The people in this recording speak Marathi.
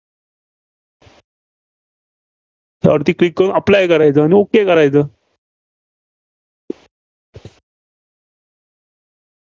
यावरती Click करून apply करायचं आणि okay करायचं.